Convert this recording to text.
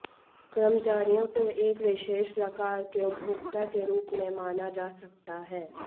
कर्मचारियों को एक विशेष प्रकार के उपभोक्ता के रूप में माना जा सकता है